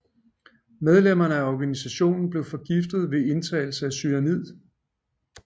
Medlemmerne af organisationen blev forgiftet ved indtagelse af cyanid